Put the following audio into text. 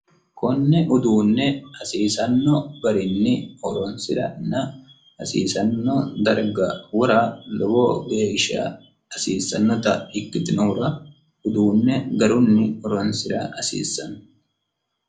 konne uduunne hasiisanno garinni horoonsirana hasiisanno darga wora lowo geeshsha hasiissannota ikkitinohura uduunne garunni horonsi'ra hasiissanno